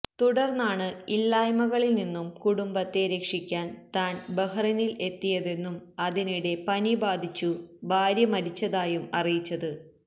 തുടർന്നാണ് ഇല്ലായ്മകളിൽ നിന്നും കുടുംബത്തെ രക്ഷിക്കാൻ താൻ ബഹറിനിൽ എത്തിയതെന്നും അതിനിടെ പനി ബാധിച്ചു ഭാര്യ മരിച്ചതായും അറിയിച്ചത്